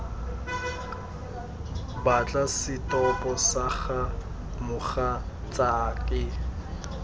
batla setopo sa ga mogatsaake